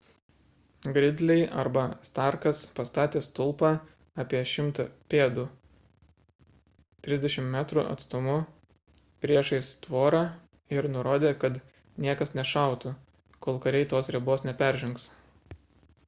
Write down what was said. gridley arba starkas pastatė stulpą apie 100 pėdų 30 m atstumu priešais tvorą ir nurodė kad niekas nešautų kol kariai tos ribos neperžengs